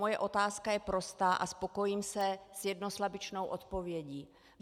Moje otázka je prostá a spokojím se s jednoslabičnou odpovědí.